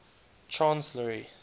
transl ar y